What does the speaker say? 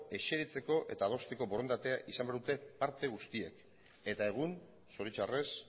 eseritzeko eta adosteko borondatea izan behar dute parte guztiek eta egun zoritxarrez